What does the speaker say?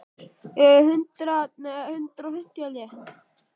Þið svona farið inn í hollum?